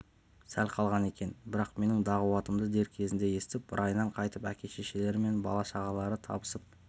сәл қалған екен бірақ менің дағуатымды дер кезінде естіп райынан қайтып әке-шешелері мен бала-шағалары табысып